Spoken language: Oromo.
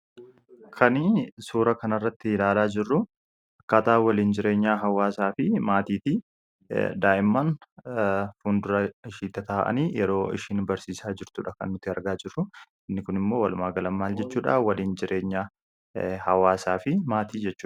Kani suura kanarratti ilaalaa jirru akkaataa waliin jireenyaa hawaasaa fi maatiiti. Daa'imman fuuldura ishee taa'anii yeroo isheen barsiisaa jirtudha kan arginu. Inni kunimmoo walumaa gala jechuudha waliin jireenya hawaasaa jechuudha.